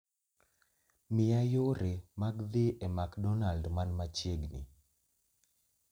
miya yore mag dhi e mcdonald man machiegni